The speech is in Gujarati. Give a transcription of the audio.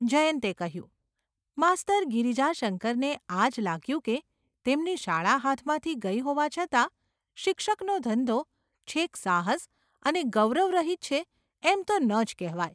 જયન્તે કહ્યું. ​ માસ્તર ગિરજાશંકરને આજ લાગ્યું કે તેમની શાળા હાથમાંથી ગઈ હોવા છતાં શિક્ષકનો ધંધો છેક સાહસ અને ગૌરવરહિત છે એમ તો ન જ કહેવાય.